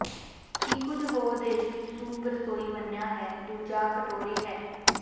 ਕੀ ਕੁਝ ਹੋਰ ਦੇਸ਼ ਵਿੱਚ ਸੂਪ ਰਸੋਈ ਮੰਨਿਆ ਹੈ ਦੂਜਾ ਕਟੋਰੇ ਹੈ